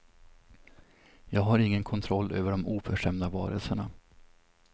Jag har ingen kontroll över de oförskämda varelserna.